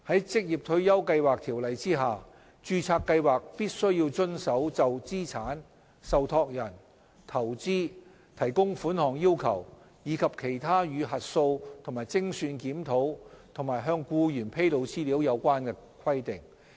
在《條例》下，註冊計劃必須遵守就資產、受託人、投資、提供款項要求，以及其他與核數及精算檢討及向僱員披露資料有關的規定。